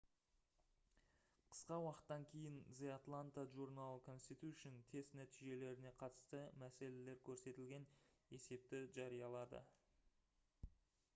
қысқа уақыттан кейін the atlanta journal-constitution тест нәтижелеріне қатысты мәселелер көрсетілген есепті жариялады